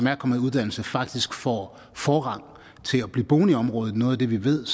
er kommet i uddannelse faktisk får forrang til at blive boende i området noget af det vi ved